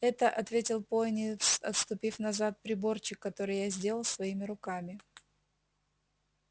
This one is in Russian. это ответил пониетс отступив назад приборчик который я сделал своими руками